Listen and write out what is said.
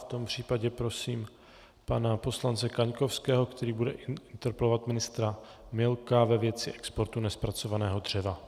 V tom případě prosím pana poslance Kaňkovského, který bude interpelovat ministra Milka ve věci exportu nezpracovaného dřeva.